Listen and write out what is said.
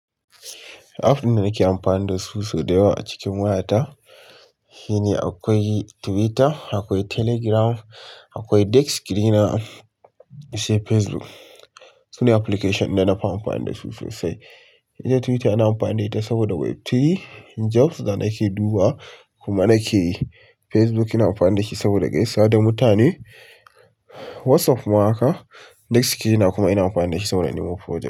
App ɗin da nake amfani da sau dayawa a cikin wayata, shine akwai Twitter, akwai Telegram, akwai Dex sceener, sai Facebook. Sune application da na fi amfani da su sosai. Ita Twitter ina amfani da ita saboda web3 jobs da nake dubawa kuma nake yi. Facebook ina amfani da shi saboda gaisawa da mutane WhatsApp ma haka. Dexsreener kuma ina amfani da shi saboda nemo project.